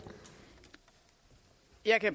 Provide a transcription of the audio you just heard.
er